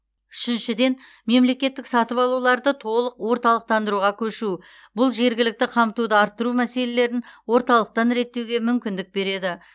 үшіншіден мемлекеттік сатып алуларды толық орталықтандыруға көшу бұл жергілікті қамтуды арттыру мәселелерін орталықтан реттеуге мүмкіндік береді